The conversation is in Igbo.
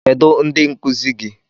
Kedụ ndị nkuzi gị?